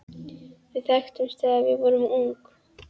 Við þekktumst þegar við vorum ung.